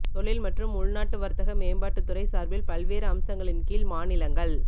தொழில் மற்றும் உள்நாட்டு வர்த்தக மேம்பாட்டுத் துறை சார்பில் பல்வேறு அம்சங்களின் கீழ் மாநிலங்கள்